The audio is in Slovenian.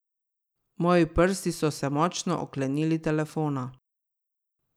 Moji prsti so se močno oklenili telefona.